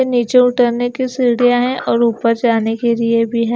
ये नीचे उतरने की सीढ़ियाँ हैं और ऊपर जाने के लिए भीं हैं।